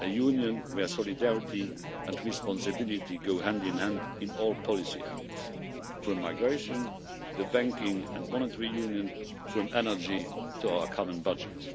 a Union where solidarity and responsibility go hand in hand in all policy areas, from migration to the banking and monetary union, from energy to our common budget